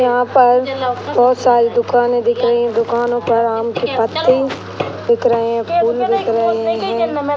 यहाँ पर बहुत सारी दुकाने दिख रही हैं दुकानों पर आम के पत्ते दिख रहे हैं फूल दिख रहे हैं।